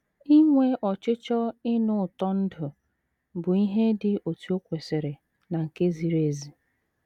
Inwe ọchịchọ ịnụ ụtọ ndụ bụ ihe dị otú o kwesịrị na nke ziri ezi.